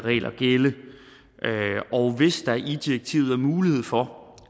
og hvis der i direktivet er mulighed for